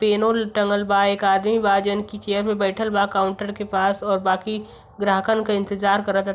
पेनोल टँगल बा एक आदमी बा जउन की चेयर पे बइठल बा काउंटर के पास और बाकि ग्राहकन क इंतज़ार करत --